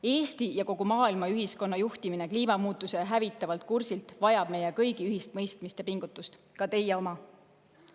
Eesti ja kogu maailma juhtimine kliimamuutuste hävitavalt kursilt kõrvale vajab meie kõigi ühist mõistmist ja pingutust, ka teie oma.